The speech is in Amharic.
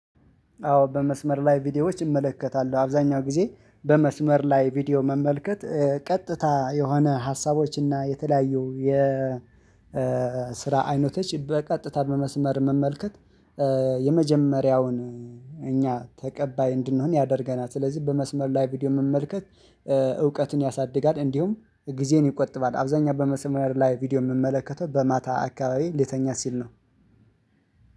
አዎ በመስመር ላይ ቪዲዮዎች እመለከታለሁ አብዛኛው ጊዜ በመስመር ላይ ቪዲዮ መመልከት ቀጥታ የሆነ ሀሳቦች እና የተለያዩ የ ስራ አይነቶች በቀጥታ በመስመር መመልከት። የመጀመሪያውን እኛ ተቀባይ እንድንሆን ያደርገናል ስለዚህ በመስመር ላይ ቪዲዮ መመልከት። እውቀትን ያሳድጋል እንዲሁም ጊዜን ይቆጥባል። አብዛኛው በመስመር ላይ ቪዲዮ የምመለከተው በማታ አካባቢ ሊተኛ ሲል ነው።